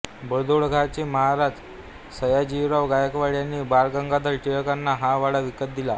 बडोद्याचे महाराज सयाजीराव गायकवाड यांनी बाळ गंगाधर टिळकांना हा वाडा विकत दिला